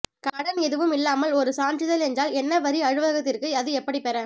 கடன் எதுவும் இல்லாமல் ஒரு சான்றிதழ் என்றால் என்ன வரி அலுவலகத்திற்கு அது எப்படி பெற